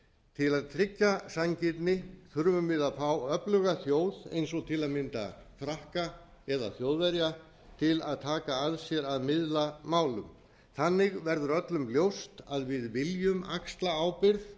til að tryggja sanngirni þurfum við að fá öfluga þjóð eins og til að mynda frakka eða þjóðverja til að taka að sér að miðla málum þannig verður öllum ljóst að við viljum axla ábyrgð